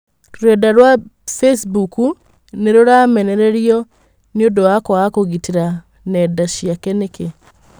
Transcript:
Rũrenda rwa bicimbuku nĩruramenererĩo nĩũndũwa kwaga kũgĩtĩra nenda ciake nĩki?